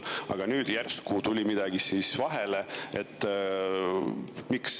Aga nüüd järsku tuli midagi vahele.